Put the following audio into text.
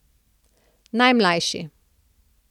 Najmlajši.